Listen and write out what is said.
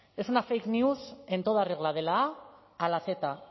es una fake new en toda regla de la a a la z